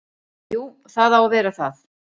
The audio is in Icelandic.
Jú, það á að vera það.